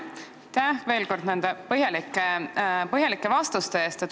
Aitäh veel kord nende põhjalike vastuste eest!